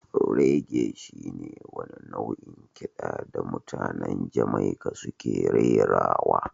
Reggae shi ne wani nau'in kiɗa da mutanen Jamaica suke rerawa